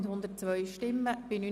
Wir kommen zu den Rückweisungen.